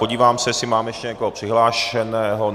Podívám se, jestli máme ještě někoho přihlášeného.